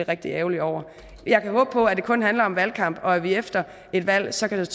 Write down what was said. rigtig ærgerlig over jeg kan håbe på at det kun handler om valgkamp og at vi efter et valg så kan